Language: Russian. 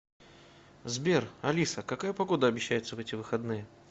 сбер алиса какая погода обещается в эти выходные